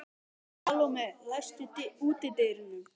Salome, læstu útidyrunum.